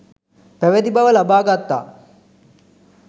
පැවිදි බව ලබා ගත්තා.